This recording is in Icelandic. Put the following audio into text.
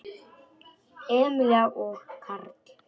Emilía og Karl.